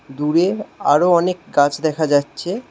দূরে আরও অনেক গাছ দেখা যাচ্ছে।